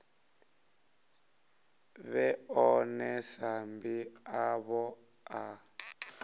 vhe ḽone sambi ḽavho ḽa